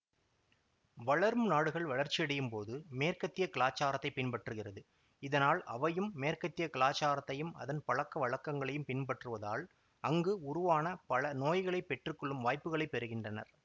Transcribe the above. வளரும் நாடுகள் வளர்ச்சியடையும்போது மேற்கத்திய கலாச்சாரத்தைப் பின்பற்றுகிறது இதனால் அவையும் மேற்கத்திய கலாச்சாரத்தையும் அதன் பழக்கவழக்கங்களைப் பின்பற்றுவதால் அங்கு உருவான பல நோய்களைப் பெற்று கொள்ளும் வாய்ப்புகளைப் பெறுகின்றனர்